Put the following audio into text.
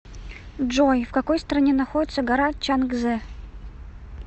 джой в какой стране находится гора чангзе